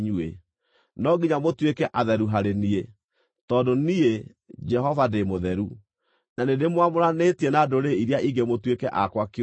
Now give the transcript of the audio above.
No nginya mũtuĩke atheru harĩ niĩ, tondũ niĩ, Jehova, ndĩ mũtheru, na nĩndĩmwamũranĩtie na ndũrĩrĩ iria ingĩ mũtuĩke akwa kĩũmbe.